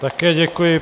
Také děkuji.